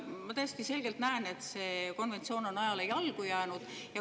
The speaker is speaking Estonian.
Ma täiesti selgelt näen, et see konventsioon on ajale jalgu jäänud.